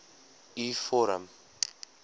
u vorm